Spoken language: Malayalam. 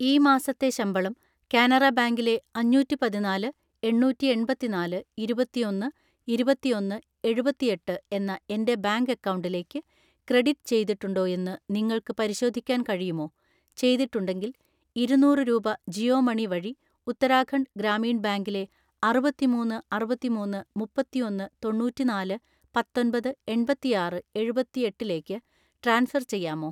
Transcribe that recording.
ഈ മാസത്തെ ശമ്പളം കാനറ ബാങ്കിലെ അഞ്ഞൂറ്റിപതിനാല് എണ്ണൂറ്റിഎൺപത്തിനാല് ഇരുപത്തിഒന്ന് ഇരുപത്തിഒന്ന് എഴുപത്തിഎട്ട് എന്ന എൻ്റെ ബാങ്ക് അക്കൗണ്ടിലേക്ക് ക്രെഡിറ്റ് ചെയ്തിട്ടുണ്ടോ എന്ന് നിങ്ങൾക്ക് പരിശോധിക്കാൻ കഴിയുമോ, ചെയ്തിട്ടുണ്ടെങ്കിൽ ഇരുന്നൂറ് രൂപ ജിയോ മണി വഴി ഉത്തരാഖണ്ഡ് ഗ്രാമീൺ ബാങ്കിലെ അറുപത്തിമൂന്ന് അറുപത്തിഒന്ന് മുപ്പത്തിഒന്ന് തൊണ്ണൂറ്റിനാല്‌ പത്തൊൻപത് എൺപത്തിആറ് എഴുപത്തിഎട്ടിലേക്ക് ട്രാൻസ്ഫർ ചെയ്യാമോ?